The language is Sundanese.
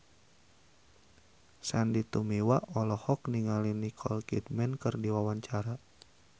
Sandy Tumiwa olohok ningali Nicole Kidman keur diwawancara